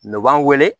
N' b'an wele